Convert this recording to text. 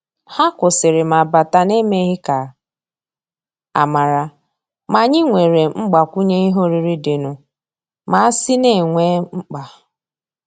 Hà kwụ́sị́rị̀ mà bátà n’èmèghị́ ká ámàrà, mà ànyị́ nwéré mgbàkwùnyé ìhè órírí dì nụ́, mà àsị́ nà é nwé mkpá.